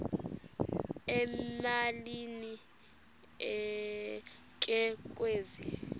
emalini ke kwezi